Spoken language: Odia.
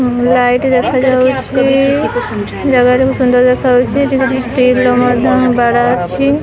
ଉଁ ଲାଇଟ୍ ଦେଖା ଯାଉଛି ଜାଗାଟି ବି ସୁନ୍ଦର ଦେଖାହୋଉଛି ଏଠି କିଛି ଷ୍ଟିଲ୍ ର ମଧ୍ୟ ବାଡା ଅଛି।